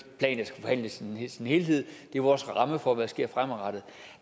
en i sin helhed det er vores ramme for hvad der sker fremadrettet